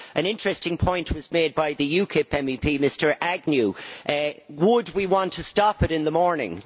An interesting point was made by the UKIP MEP, Mr Agnew would we want to stop it, in the morning?